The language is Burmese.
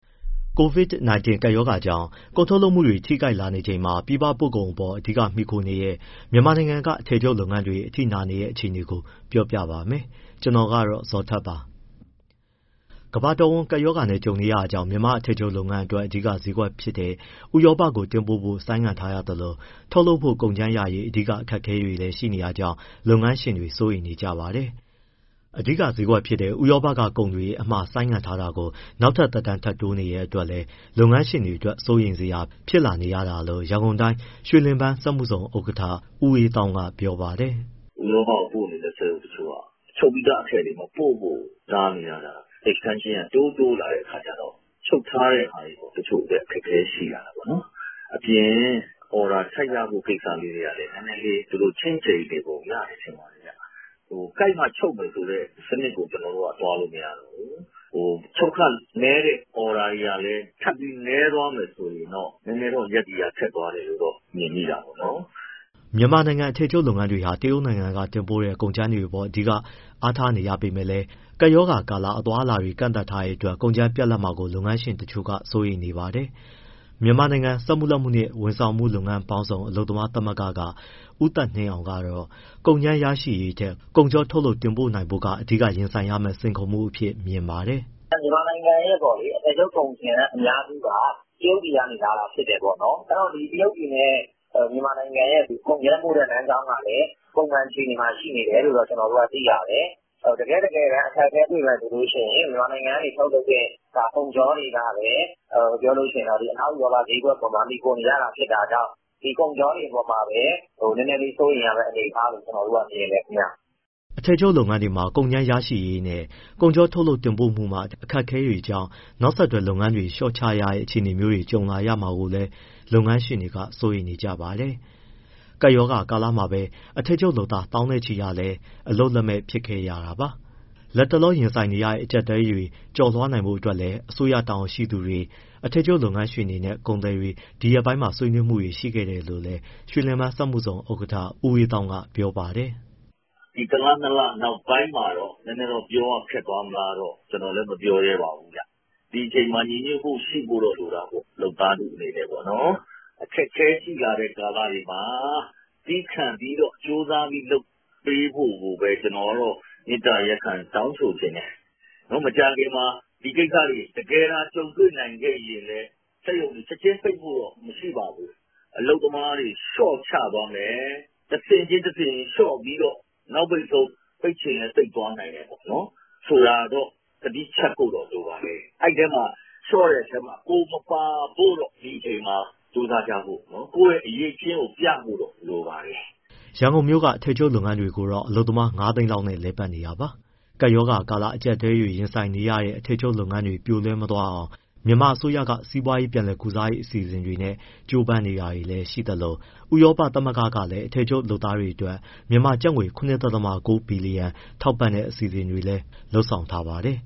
COVID-19 ကပ်ရောဂါကြောင့် ကုန်ထုတ်လုပ်မှုတွေကို ထိခိုက်လာနေချိန်မှာ ပြည်ပတင်ပို့မှုအပေါ် အဓိက မှီခိုနေရတဲ့ မြန်မာနိုင်ငံက အထည်ချုပ် လုပ်ငန်းတွေ အထိနာနေတဲ့ အခြေအနေကို ကိုဇော်ထက် ပြောပြပါမယ်။ ကမ္ဘာတဝန်း ကပ်ရောဂါနဲ့ ကြုံနေရတာကြောင့် မြန်မာ့အထည်ချုပ်လုပ်ငန်းအတွက် အဓိကဈေးကွက်ဖြစ်တဲ့ ဥရောပကို တင်ပို့ဖို့ ဆိုင်းထားရသလို၊ ထုတ်လုပ်ဖို့ ကုန်ကြမ်းရရေး အခက်အခဲတွေလည်း ရှိနေတာကြောင့် လုပ်ငန်းရှင်တွေ စိုးရိမ်နေကြပါတယ်။ အဓိကဈေးကွက်ဖြစ်တဲ့ ဥရောက ကုန်အမှာတွေ ဆိုင်းငံ့ထားတာကို နောက်ထပ် သက်တမ်းထပ်တိုးနေတဲ့ အတွက်လည်း လုပ်ငန်းရှင်တွေအတွက် စိုးရိမ်စရာ ဖြစ်လာနေရတာလို့ ရန်ကုန်တိုင်း ရွှေလင်ဗန်းစက်မှုဇုံ ဥက္ကဋ္ဌ ဦးအေးသောင်းက ပြောပါတယ်။ “ဥရောပကို ပို့နေတဲ့ စက်ရုံတချို့က ချုပ်ပြီးသားအထည်တွေ မပို့ဖို့ တားနေတာ extension က တိုးတိုးလာတဲ့အခါကျတော့ ချုပ်ထားပြီးတဲ့ဟာတွေ တချို့ အခက်အခဲရှိတာပေါ့။ ဒါ့အပြင် order ထပ်ရဖို့ ကိစ္စလေးတွေကလည်း နည်းနည်းကလေး သူတို့ ( ဥရောပ)က ချင့်ချိန်နေပုံရတယ်ထင်ပါတယ်။ ကိုက်မှ ချုပ်မယ်ဆိုတဲ့ စနစ်ကို ကျနော်တို့က သွားလို့မရတော့ဘူး၊ ချုပ်ခနည်းတဲ့ order တွေကလည်း ထပ်ပြီးနည်းသွားမယ် ဆိုရင်တော့ နည်းနည်းတော့ ရပ်တည်ရ ခက်သွားတယ်လို့တော့ မြင်မိတာပေါ့နော်။” မြန်မာနိုင်ငံ အထည်ချုပ်လုပ်ငန်းတွေဟာ တရုတ်နိုင်ငံက တင်ပို့တဲ့ ကုန်ကြမ်းတွေအပေါ် အားထားနေရပေမဲ့လည်း ကပ်ရောဂါကာလ အသွားအလာတွေ ကန့်သတ်ထားတဲ့အတွက် ကုန်ကြမ်းပြတ်လပ်မှာကို လုပ်ငန်းရှင်တချို့က စိုးရိမ်နေပါတယ်။ မြန်မာနိုင်ငံ စက်မှုလက်မှုနဲ့ ဝန်ဆောင်မှုပေါင်းစုံ အလုပ်သမားသမဂ္ဂက ဦးသက်နှင်းအောင်ကတော့ ကုန်ကြမ်းရရှိရေးထက် ကုန်ချောထုတ်လုပ် တင်ပို့နိုင်ဖို့က အဓိက ရင်ဆိုင်ရမယ့် စိန်ခေါ်မှု အဖြစ် မြင်ပါတယ်။ “ မြန်မာနိုင်ငံရဲ့ အထည်ချုပ်ကုန်ကြမ်းအများစုက တရုတ်ပြည်ကနေ လာတာဖြစ်တယ်ပေါ့နော်။ အဲဒီတော့ ဒီတရုတ်ပြည်နဲ့ မြန်မာနိုင်ငံနဲ့ ကုန်ကြမ်းပို့တဲ့ လမ်းကြောင်းကလည်း ပုံမှန်အခြေအနေမှာ ရှိနေတယ်လို့တော့ ကျနော်တို့က သိရတယ်။ တကယ့်တကယ် အခက်အခဲတွေ့မယ်ဆိုရင် မြန်မာနိုင်ငံကနေ ထုတ်လုပ်တဲ့ ကုန်ချောတွေကပဲ အနောက်ဥရောပဈေးကွက်အပေါ်မှာ မှီခိုနေရတာ ဖြစ်တာကြောင့် ဒီကုန်ချောတွေအပေါ်မှာပဲ နည်းနည်းလေး စိုးရိမ်ရတဲ့အနေအထားလို့ ကျနော်တို့က မြင်တယ် ခင်ဗျ။” အထည်ချုပ် လုပ်ငန်းတွေမှာ ကုန်ကြမ်းရရှိရေးနဲ့ ကုန်ချောထုတ်လုပ် တင်ပို့မှုတွေမှာ အခက်အခဲတွေကြောင့် နောက်ဆက်တွဲ လုပ်ငန်းတွေ လျှော့ချရတဲ့ အခြေအနေမျိုးတွေ ကြုံရမှာကိုလည်း လုပ်ငန်းရှင်တွေ စိုးရိမ်နေပါတယ်။ ကပ်ရောဂါကာလမှာပဲ အထည်ချုပ်လုပ်သား သောင်းနဲ့ချီဟာလည်း အလုပ်လက်မဲ့ဖြစ်ခဲ့ရတာပါ။ လတ်တလော ရင်ဆိုင်နေရတဲ့ အကျပ်အတည်းတွေကို ကျော်လွှားနိုင်ဖို့ အတွက်လည်း အစိုးရ တာဝန်ရှိ သူတွေ၊ အထည်ချုပ်လုပ်ငန်းရှင်တွေနဲ့ ကုန်သည်တွေ ဒီရက်ပိုင်းတွေမှာ ဆွေးနွေးမှုတွေ ရှိခဲ့တယ်လို့လည်း ရွှေလင်ပန်းစက်မှုဇုံဥက္ကဋ္ဌ ဦးအေးသောင်းက ပြောပါတယ်။ “ဒီတလ၊ နှစ်လ နောက်ပိုင်းမှာတော့ ပြောရခက်သွားမလား ကျနော်လည်းမပြောရဲပါဘူးဗျ။ ဒီအချိန်မှာ ညီညွတ်မှုရှိဖို့တော့ လိုတာပေါ့။ လုပ်သားထုအနေနဲ့ပေါ့နော်။ အခက်အခဲရှိလာတဲ့ ကာလတွေမှာ သည်းခံပြီး ကြိုးစားပြီး လုပ်ပေးဖို့ကိုပဲ ကျနော်ကတော့ မေတ္တာရပ်ခံတောင်းဆိုချင်တယ်။ မကြာခင်မှာ ဒီကိစ္စတွေတကယ်သာ ကြုံတွေ့နိုင်ခဲ့ရင် စက်ရုံတွေ ချက်ချင်းပိတ်ဖို့တော့ မရှိပါဘူး၊ အလုပ်သမားတွေ လျှော့ချသွားမယ်၊ တဆင့်ချင်း လျှော့ပြီးတော့ နောက်ဆုံး ပိတ်ချင်လည်း ပိတ်သွားနိုင်တယ်ဆိုတာတော့ သတိချပ်ဖို့တော့ လိုပါတယ်။ လျှော့တဲ့အထဲမှာ ကိုယ်မပါဖို့တော့ ဒီအချိန်မှာ ကြိုးစားကြဖို့ ကိုယ့်ရဲ့ အရည်အချင်းကို ပြဖို့တော့ လိုပါတယ်။” ရန်ကုန်မြို့က အထည်ချုပ်ငန်းတွေကိုတော့ အလုပ်သမား ၅သိန်း လောက်နဲ့ လည်ပတ်နေတာပါ။ ကပ်ရောဂါကာလ အကျပ်အတည်းတွေ ရင်ဆိုင်နေရတဲ့ အထည်ချုပ်လုပ်ငန်းတွေ ပြိုလဲ မသွားအောင် မြန်မာအစိုးရက စီးပွားရေး ပြန်လည်ကုစားရေး အစီအစဉ်တွေနဲ့ ကြိုးပမ်းနေတာတွေ ရှိနေသလို ဥရောပသမဂ္ဂလည်း အထည်ချုပ်လုပ်သားတွေအတွက် မြန်မာကျပ်ငွေ ၇.၉ ဘီလီယံ ထောက်ပံ့တဲ့ အစီအစဉ်တွေလည်း လုပ်ဆောင်ထားပါတယ်